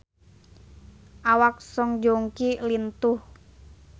Awak Song Joong Ki lintuh